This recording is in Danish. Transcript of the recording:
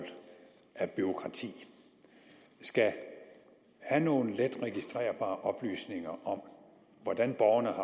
af bureaukrati skal have nogle let registrerbare oplysninger om hvordan borgerne